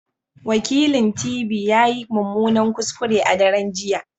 Wakilint.v ya yi mummunan kuskure a daren jiya